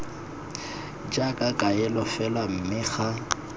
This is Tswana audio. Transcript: jaaka kaelo fela mme ga